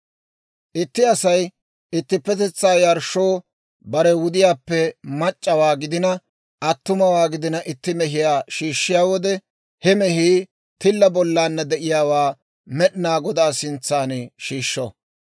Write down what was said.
« ‹Itti Asay ittippetetsaa yarshshoo bare wudiyaappe mac'c'awaa gidina attumawaa gidina itti mehiyaa shiishshiyaa wode, he mehii tilla bollaanna de'iyaawaa Med'inaa Godaa sintsan shiishsho.